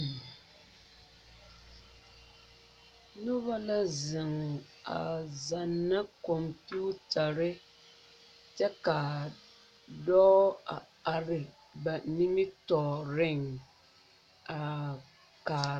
Noba la zeŋɛ a zana komputarre, kyɛ kyɛ ka dɔɔ zeŋɛ ba nimitɔreŋ